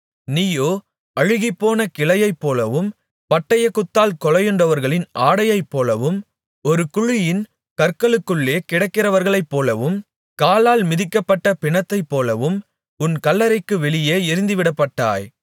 நீயோ அழுகிப்போன கிளையைப்போலவும் பட்டயக்குத்தால் கொலையுண்டவர்களின் ஆடையைப்போலவும் ஒரு குழியின் கற்களுக்குள்ளே கிடக்கிறவர்களைப்போலவும் காலால் மிதிக்கப்பட்ட பிணத்தைப்போலவும் உன் கல்லறைக்கு வெளியே எறிந்துவிடப்பட்டாய்